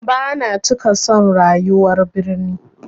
Bana cika son rayuwar birni.